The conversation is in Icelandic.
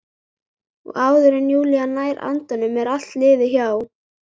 Og áður en Júlía nær andanum er allt liðið hjá.